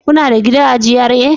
Kuna da gida a GRA?